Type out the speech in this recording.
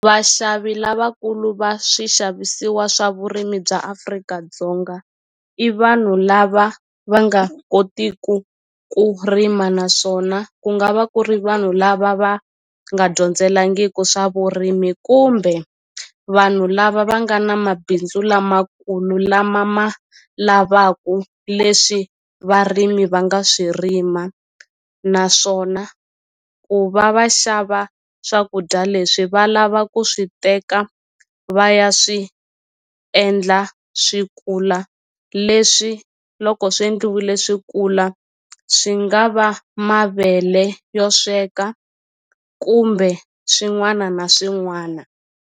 Vaxavi lavakulu va swixavisiwa swa vurimi bya Afrika-Dzonga i vanhu lava va nga kotiku ku rima naswona ku nga va ku ri vanhu lava va nga dyondzelangiku swa vurimi kumbe vanhu lava va nga na mabindzu lamakulu lama ma lavaku leswi varimi va nga swi rima naswona ku va va xava swakudya leswi va lava ku swi teka va ya swi endla swi kula leswi loko swi endliwile swi kula swi nga va mavele yo sweka kumbe swin'wana na swin'wana.